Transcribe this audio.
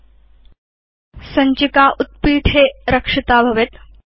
अथ सञ्चिका उत्पीठे रक्षिता भवति